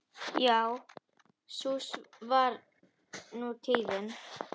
Já sú var nú tíðin.